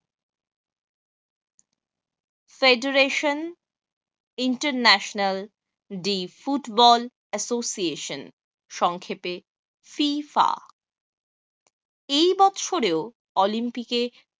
federation international the football association সংক্ষেপে FIIFA এই বছরেও olympic এ